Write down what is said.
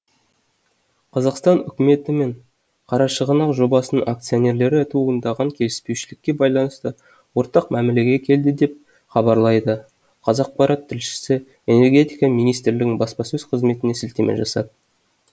қазақстан үкіметі мен қарашығанақ жобасының акционерлері туындаған келіспеушілікке байланысты ортақ мәмілеге келді деп хабарлайды қазақпарат тілшісі энергетика министрлігінің баспасөз қызметіне сілтеме жасап